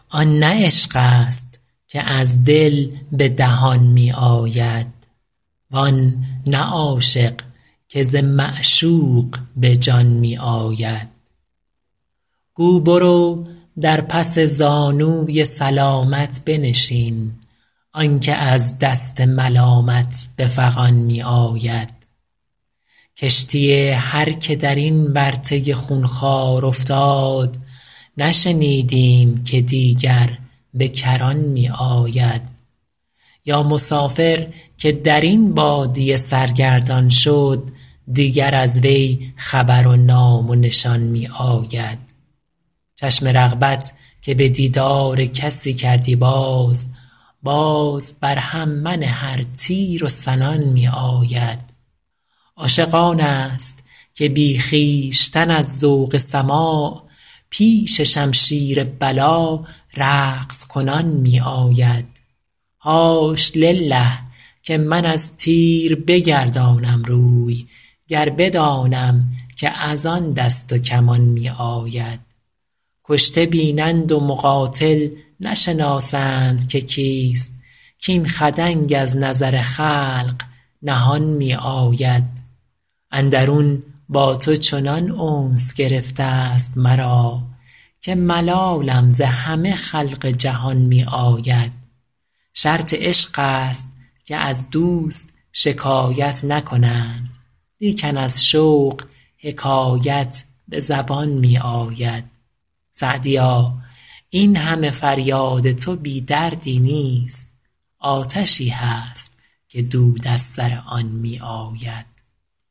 آن نه عشق است که از دل به دهان می آید وان نه عاشق که ز معشوق به جان می آید گو برو در پس زانوی سلامت بنشین آن که از دست ملامت به فغان می آید کشتی هر که در این ورطه خونخوار افتاد نشنیدیم که دیگر به کران می آید یا مسافر که در این بادیه سرگردان شد دیگر از وی خبر و نام و نشان می آید چشم رغبت که به دیدار کسی کردی باز باز بر هم منه ار تیر و سنان می آید عاشق آن است که بی خویشتن از ذوق سماع پیش شمشیر بلا رقص کنان می آید حاش لله که من از تیر بگردانم روی گر بدانم که از آن دست و کمان می آید کشته بینند و مقاتل نشناسند که کیست کاین خدنگ از نظر خلق نهان می آید اندرون با تو چنان انس گرفته ست مرا که ملالم ز همه خلق جهان می آید شرط عشق است که از دوست شکایت نکنند لیکن از شوق حکایت به زبان می آید سعدیا این همه فریاد تو بی دردی نیست آتشی هست که دود از سر آن می آید